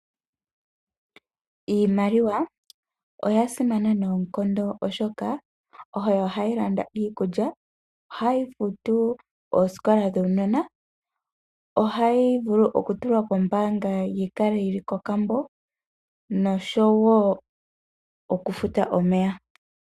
Iimaliwa oya simana noonkondo oshoka oto hayi landa iikulya, ohayi futu oosikola dhuunona, ohayi vulu okutulwa kombaanga yi kale yi li kokambo noshowo okufuta omeya.